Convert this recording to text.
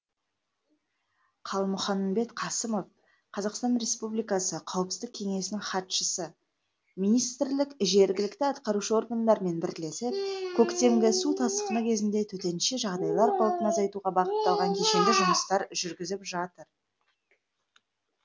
қалмұханбет қасымов қр қауіпсіздік кеңесінің хатшысы министрлік жергілікті атқарушы органдармен бірлесіп көктемгі су тасқыны кезінде төтенше жағдайлар қаупін азайтуға бағытталған кешенді жұмыстар жүргізіп жатыр